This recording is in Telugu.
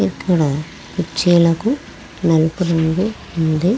ఇక్కడ కుర్చీలకు నలుపు రంగు ఉంది.